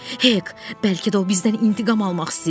Hek, bəlkə də o bizdən intiqam almaq istəyir.